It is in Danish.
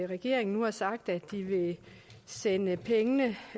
regeringen nu har sagt at de vil sende pengene